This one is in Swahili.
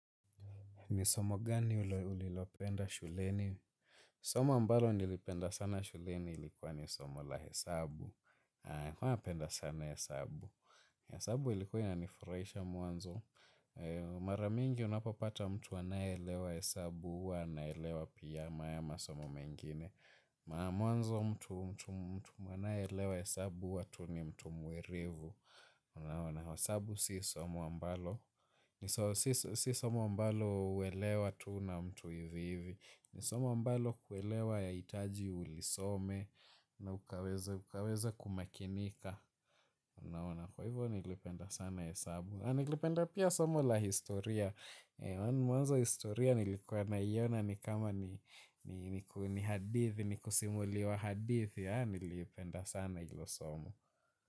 Ni somo gani ulilopenda shuleni? Somo ambalo nilipenda sana shuleni ilikuwa ni somo la hesabu. Huwa napenda sana hesabu. Hesabu ilikuwa inani furaisha mwanzo. Mara mingi unapapata mtu anaelewa hesabu uwa naelewa pia haya masomo mengine. Mwanzo mtu anaelewa hesabu uwa tu ni mtu mwerevu. Unaona hesabu si somo ambalo. Si somo ambalo uwelewa tu na mtu hivi hivi. Ni somo ambalo kuwelewa ya itaji ulisome na ukaweze kumakinika. Naona kwa hivyo nilipenda sana hesabu. Na nilipenda pia somo la historia. Mwanzo historia nilikuwa na iyona ni kama ni hadithi. Nikusimuliwa hadithi na nilipenda sana ilo somo.